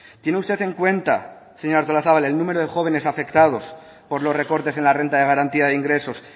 tiene usted en cuenta señora artolazabal el número de jóvenes afectados por los recortes en la renta de garantía de ingresos